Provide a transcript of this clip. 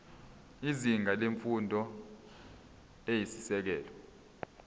izinga lemfundo eyisisekelo